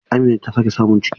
Amina ta sake samun ciki.